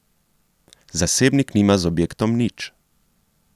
Zasebnik nima z objektom nič.